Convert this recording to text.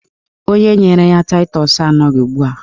Onye nyere ya taịtọs anọghị ugbua